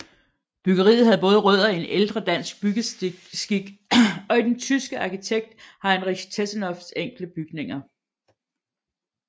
Byggeriet havde både rødder i ældre dansk byggeskik og i den tyske arkitekt Heinrich Tessenows enkle bygninger